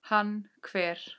Hann hver?